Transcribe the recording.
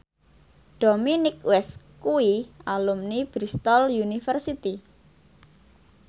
Dominic West kuwi alumni Bristol university